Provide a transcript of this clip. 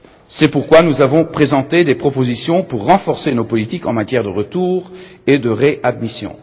C'est pourquoi nous avons présenté des propositions pour renforcer nos politiques en matière de retour et de réadmission.